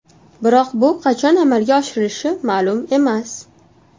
Biroq bu qachon amalga oshirilishi ma’lum emas.